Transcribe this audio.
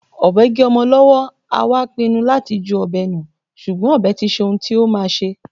Ọbẹ gé ọmọ lọwọ, a wá pínnú lati jú ọbẹ nù, ṣùgbọ́n ọbẹ tiṣé ń tí o má ṣé.